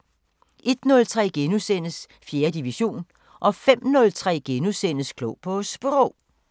01:03: 4. division * 05:03: Klog på Sprog *